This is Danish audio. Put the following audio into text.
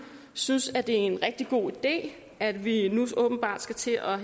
synes at det er en rigtig god idé at vi nu åbenbart skal til at